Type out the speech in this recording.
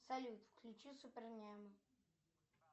салют включи супер немы